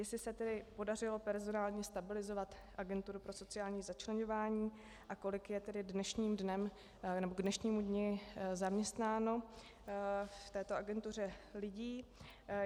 Jestli se tedy podařilo personálně stabilizovat Agenturu pro sociální začleňování a kolik je tedy k dnešnímu dni zaměstnáno v této agentuře lidí.